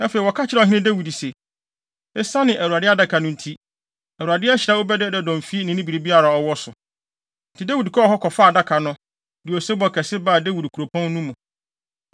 Afei, wɔka kyerɛɛ ɔhene Dawid se, “Esiane Awurade Adaka no nti, Awurade ahyira Obed-Edom fi ne biribiara a ɔwɔ so.” Enti Dawid kɔɔ hɔ kɔfaa Adaka no, de osebɔ kɛse baa Dawid Kuropɔn no mu.